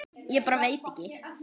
Ég bara veit ekki.